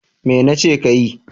Me nace kayi?